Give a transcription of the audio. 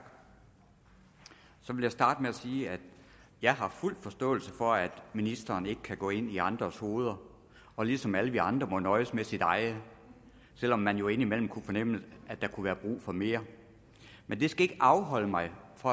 så vil jeg starte med at sige at jeg har fuld forståelse for at ministeren ikke kan gå ind i andres hoveder og ligesom alle vi andre må nøjes med sit eget selv om man jo indimellem kunne fornemme at der kunne være brug for mere men det skal ikke afholde mig fra